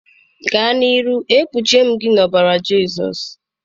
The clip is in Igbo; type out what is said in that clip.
Gaa nke ọma, e kpuchie m gị n'ime ọbara Jizọs.